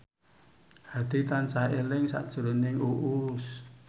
Hadi tansah eling sakjroning Uus